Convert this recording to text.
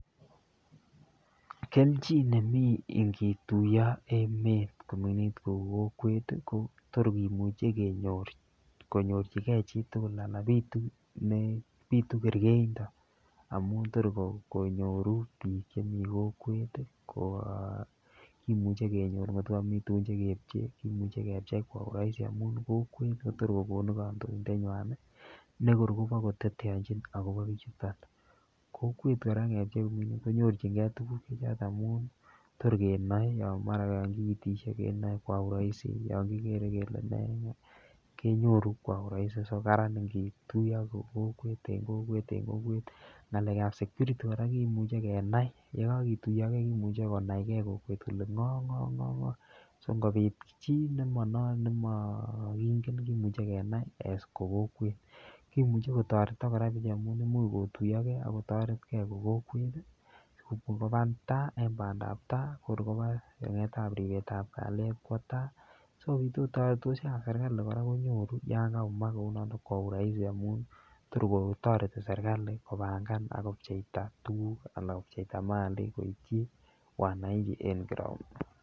Kelchin nemi ingituiyo emet koming'init kou kokwet ko tor kimuche konyorchi chitugul, anan bitu kergeindo amun tor konyoru biik chemi kokwet, kemuche kenyor kotko komi tugun che kepche, kimuche kepchei kwa urahisi amun kokwet kotor kogonu kandoindenywan ne kor kobakoteteanchin agobo bichuton, kokwet kora ngepchei kou ni konyorchinge tuguk amun tor kenoe yon mara kogiiteshe kenoe kwa urahisi yon kigere kele ne kenyoru kwa urahisi so karan ingituiyo ko kokwet en kokwet. Ng'alekab security kora kimuche kenai, ye kagituiyo ge komuche konai ge kokwet kole ng'o ak ng'o ak ng'o che ngobit chi nemokingen kimuche kenae as ko kokwet. Kimuche kotoretok kora maun imuch kotuiyo ge ak kotoret ke kokwet si kobangan ta en bandap tai ko kor koba yaetab ripetab kalyet kwo tai. So ab serkalit yon kayumak koigu rahisi amun tor kotoreti serkalit kopangan ak kopcheita tuguk anan kopcheita malik koityi wananchi en ground